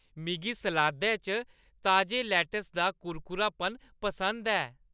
मिगी सलादै च ताजे लैट्टस दा कुरकुरापन पसंद ऐ।